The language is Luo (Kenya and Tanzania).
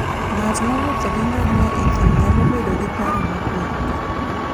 Ng'at mowuotho gi ngamia e thim nyalo bedo gi paro mokuwe.